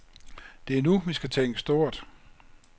Det er nu, vi skal tænke stort.